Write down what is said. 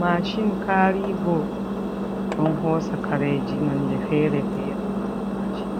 Mashin karigo ɗon hosa kareji nonde fere-fere, mashin